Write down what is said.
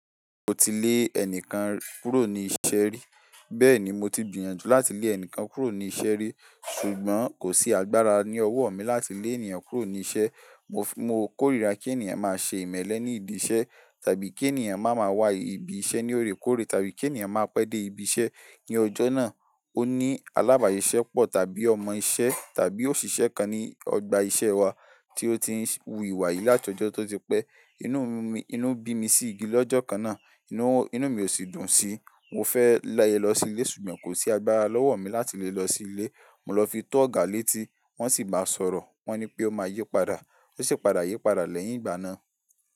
Mo ti lé ẹnìkan kúrò ní iṣẹ́ rí. Bẹ́ẹ̀ni, mo ti gbìyànjú láti lé ẹnìkan kúrò ní iṣẹ́ rí ṣùgbọ́n kò sí agbára ní ọwọ́ mi láti lé ènìyàn kúrò ní iṣẹ́. Mo, mo kórìíra kí ènìyàn máa ṣe ìmẹ́lẹ́ ní idi iṣẹ́ tàbí kí ènìyàn má máa wá ibi iṣẹ́ ní òrékòré tàbí kí ènìyàn máa pé dé ibi iṣẹ́ ní ọjọ́ náà. Ó ní alábàsiṣẹ́pọ̀ tàbí ọmọ iṣẹ́ tàbí òṣìṣẹ́ kan ní ọgbà iṣẹ́ wa tí ó ti ń wu ìwà yìí láti ọjọ́ tó ti pẹ́. Inú mi, inú bí mi sí gidi lọ́jọ́ kan náà, inú, inú mi ò sì dùn síi. Mo fẹ́ lè lọ sí ilé ṣùgbọ́n kò sí agbára lọ́wọ́ mi láti lè lọ sí ilé. Mo lọ fi tó ọ̀gá létí wọ́n sì baa sọ̀rọ̀. Wọ́n ní pé ó máa yípadà. Ó sì padà yípadà lẹ́yìn ìgbà náà.